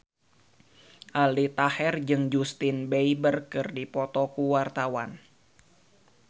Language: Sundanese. Aldi Taher jeung Justin Beiber keur dipoto ku wartawan